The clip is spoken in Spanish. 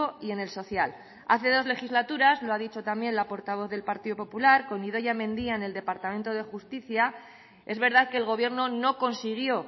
y en el social hace dos legislaturas lo ha dicho también la portavoz del partido popular con idoia mendia en el departamento de justicia es verdad que el gobierno no consiguió